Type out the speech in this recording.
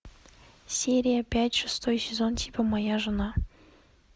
серия пять шестой сезон типа моя жена